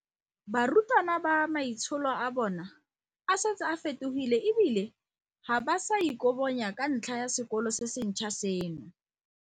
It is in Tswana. Barutwana ba rona maitsholo a bona a setse a fetogile e bile ga ba sa ikobonya ka ntlha ya sekolo se sentšhwa seno.